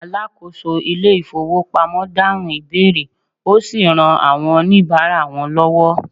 alákóso ilé ifowópamọ́ dahun ìbéèrè osi ran àwọn onibara wan lowo